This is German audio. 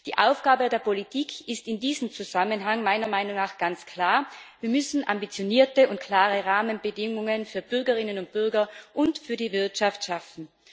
Die Aufgabe der Politik ist in diesem Zusammenhang meiner Meinung nach ganz klar Wir müssen ambitionierte und klare Rahmenbedingungen für Bürgerinnen und Bürger und für die Wirtschaft schaffen.